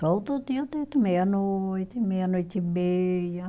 Todo dia eu deito meia-noite, meia-noite e meia.